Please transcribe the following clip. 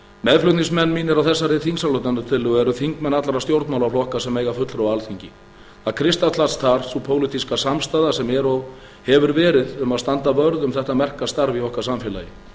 meðflutningsmenn mínir á þessari þingsályktunartillögu eru þingmenn allra stjórnmálaflokka sem eiga fulltrúa á alþingi það kristallast þar sú pólitíska samstaða sem er og hefur verið um að standa vörð um þetta merka starf í okkar samfélagi